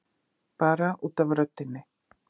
Bara út af röddinni.